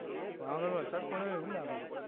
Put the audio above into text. પાવાગઢ વરસાદ પડે એવું લાગે છે